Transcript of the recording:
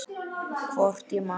Hvort ég man.